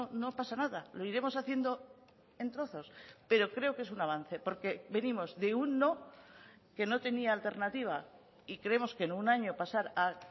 no pasa nada lo iremos haciendo en trozos pero creo que es un avance porque venimos de un no que no tenía alternativa y creemos que en un año pasar a